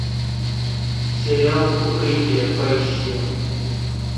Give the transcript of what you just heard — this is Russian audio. сериал укрытие поищи